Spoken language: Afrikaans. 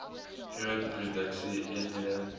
groot produksie eenhede